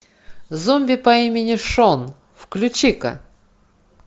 зомби по имени шон включи ка